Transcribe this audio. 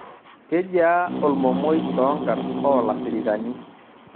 Kejia olmomoi too nkarn oo lafirikani